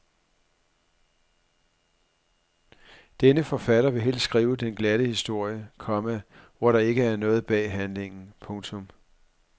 Denne forfatter vil helst skrive den glatte historie, komma hvor der ikke er noget bag handlingen. punktum